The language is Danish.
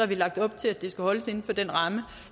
vi lagt op til at det skal holdes inden for den ramme